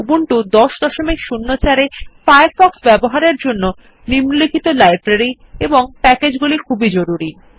Ubuntu ১০০৪ এ Firefox ব্যবহারের জন্য নিম্নলিখিত লাইব্রেরি এবং প্যাকেজ গুলি জরুরি